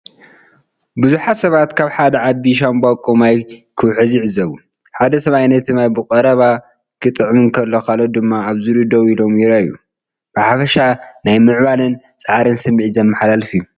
ብዙሓት ሰባት ካብ ሓደ ዓቢ ሻምብቆ ማይ ክውሕዝ ይዕዘቡ። ሓደ ሰብኣይ ነቲ ማይ ብቐረባ ክጥዕም እንከሎ ካልኦት ድማ ኣብ ዙርያኡ ደው ኢሎም ይረኣዩ። ብሓፈሻ ናይ ምዕባለን ጻዕርን ስምዒት ዘመሓላልፍ እዩ።